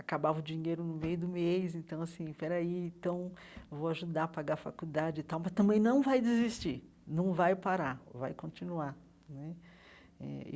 Acabava o dinheiro no meio do mês, então assim, espera aí, então vou ajudar a pagar a faculdade e tal, mas também não vai desistir, não vai parar, vai continuar né eh.